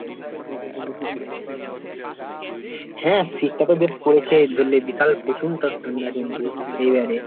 হ্যাঁ শীতটা তো বেশ পড়েছে ধরলে বিশাল বিশাল ঠান্ডা কিন্তু, এইবারে।